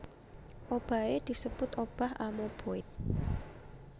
Obahé disebut obah amoeboid